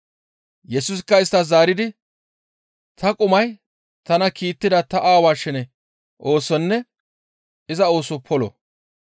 Yesusikka isttas zaaridi, «Ta qumay tana kiittida ta Aawaa shene oosonne iza ooso polo.